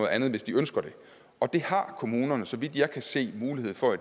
andet hvis de ønsker det og det har kommunerne så vidt jeg kan se mulighed for